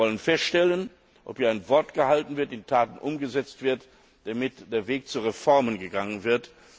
Wir wollen feststellen, ob hier Wort gehalten wird, ob Worte in Taten umgesetzt werden, damit der Weg zu Reformen gegangen wird.